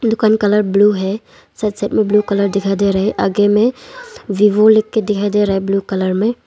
दुकान colour blue है side side में ब्लू कलर दिखाई दे रहे हैं आगे में वीवो लिख के दिखाई दे रहा है ब्ल्यू कलर में।